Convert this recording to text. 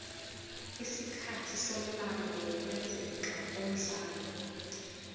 isikhathi somlando wokwenzeka komdlalo